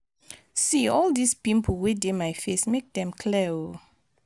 see all dis pimple wey dey my face make dem clear oo